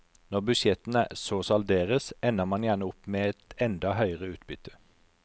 Når budsjettene så salderes ender man gjerne opp med et enda høyere utbytte.